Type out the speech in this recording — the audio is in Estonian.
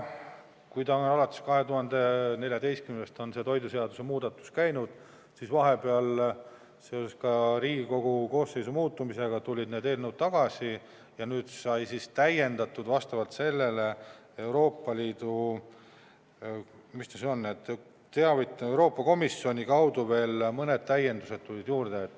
Kui alates 2014. aastast on toiduseaduse muudatusi arutatud, siis vahepeal seoses Riigikogu koosseisu muutumisega tulid need eelnõud tagasi ja nüüd Euroopa Komisjoni kaudu tulid veel mõned täiendused juurde.